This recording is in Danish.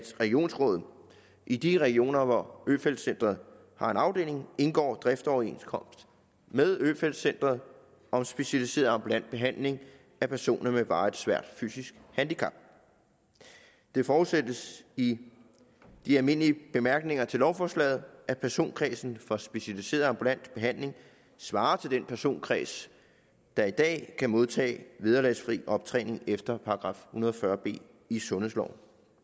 regionsrådet i de regioner hvor øfeldt centret har en afdeling indgår driftsoverenskomst med øfeldt centret om specialiseret ambulant behandling af personer med varigt svært fysisk handicap det forudsættes i de almindelige bemærkninger til lovforslaget at personkredsen for specialiseret ambulant behandling svarer til den personkreds der i dag kan modtage vederlagsfri optræning efter § hundrede og fyrre b i sundhedsloven